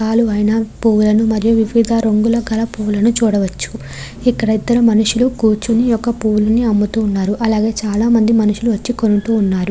పాలు ఐన పూవులని మరియు వివిధ రంగుల పూలని చూడవచ్చు ఇక్కడ ఇద్దరు మనుషులు కూర్చొని ఈ యొక్క పూలని అమ్ముతూ ఉన్నారు అలాగే చాల మంది మనుషులు వచ్చి కొంటూ ఉన్నారు.